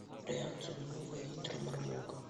реакция на новое интро мармока